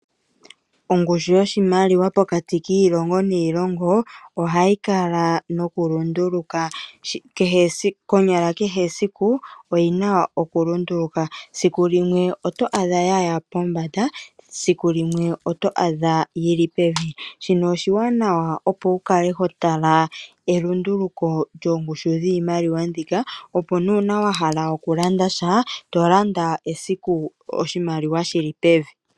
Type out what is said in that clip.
Ongushu yoshimaliwa pokati kiilongo niilongo ohayi kala nokulunduluka. Konyala kehe esiku oyi na okulunduluka. Siku limwe oto adha ya ya pombanda, siku limwe oto adha yi li pevi. Shino oshiwanawa, opo wu kale ho tala elunduluko lyoongushu dhiimaliwa mbika, opo uuna wa hala okulanda sha to landa esiku oshimaliwa shi li pevi.